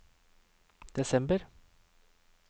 desember